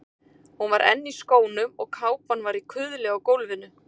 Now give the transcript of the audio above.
Hún var enn í skónum og kápan var í kuðli á gólfinu.